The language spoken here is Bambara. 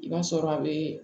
I b'a sɔrɔ a bɛ